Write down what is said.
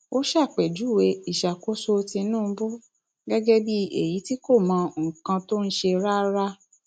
ó ṣàpèjúwe ìṣàkóso tìǹbù gẹgẹ bíi èyí tí kò mọ nǹkan tó ń ṣe rárá